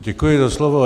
Děkuji za slovo.